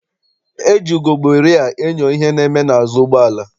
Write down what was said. E ji ugegbe rịa enyo ihe na-eme n'azụ ụgbọala.